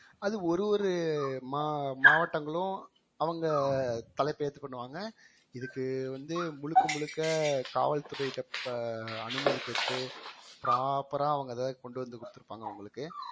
அது ஒரு ஒரு மா~ மாவட்டங்களும் அவுங்க தலைப்பு ஏத்து பண்ணுவாங்க இதுக்கு வந்து முழுக்க முழுக்க காவல்துறைட்ட ப~ அனுமதி பெற்று proper ஆ அவுங்க அத கொண்டு வந்து கொடுத்திருப்பாங்க உங்களுக்கு